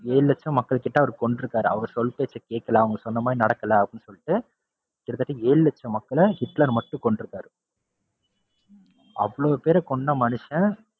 ஏழு லட்ச மக்கள் கிட்ட அவரு கொன்றுக்காரு. அவர் சொல்பேச்ச கேக்கல, அவங்க சொன்னமாதிரி நடக்கல அப்படின்னு சொல்லிட்டு கிட்டத்தட்ட ஏழு லட்ச மக்கள ஹிட்லர் மட்டும் கொன்றுக்காரு. அவ்ளோ பேர கொன்ன மனுஷன்,